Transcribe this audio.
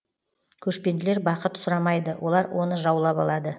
көшпенділер бақыт сұрамайды олар оны жаулап алады